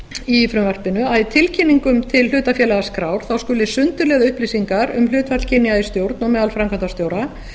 í frumvarpinu að í tilkynningum til hlutafélagaskrár skuli sundurliða upplýsingar um hlutfall kynja í stjórn og meðal framkvæmdastjóra